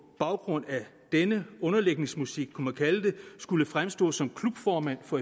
baggrund af denne underlægningsmusik kunne man kalde det skulle fremstå som klubformand for